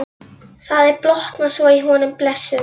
Það er blotnað svo í honum blessuðum.